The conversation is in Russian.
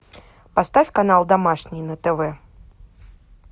поставь канал домашний на тв